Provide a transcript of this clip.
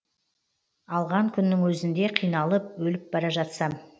алған күннің өзінде қиналып өліп бара жатсам